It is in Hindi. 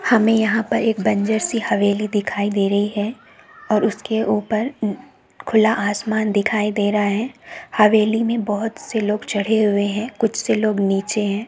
हमें यहाँ पर एक बंजर सी हवेली दिखाई दे रही है और उसके ऊपर खुला आसमान दिखाई दे रहा है हवेली में बहुत से लोग चढ़े हुए है कुछ से लोग निचे हैं।